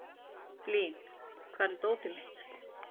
Blín, hvar er dótið mitt?